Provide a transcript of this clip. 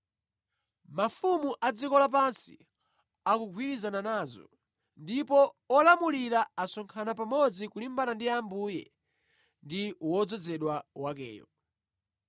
Mafumu a dziko lapansi akugwirizana nazo; ndipo olamulira asonkhana pamodzi kulimbana ndi Ambuye ndi wodzozedwa wakeyo.’